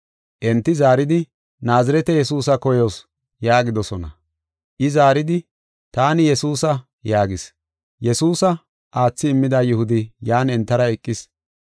Enti zaaridi, “Naazirete Yesuusa koyoos” yaagidosona. I zaaridi, “Taani Yesuusa” yaagis. Yesuusa aathidi immida Yihudi yan entara eqis.